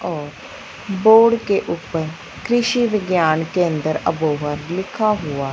और बोर्ड के ऊपर कृषि विज्ञान के अंदर अबोहर लिखा हुआ--